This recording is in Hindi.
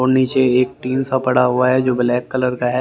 और नीचे एक टीन का पड़ा हुआ है जो ब्लैक कलर का है ।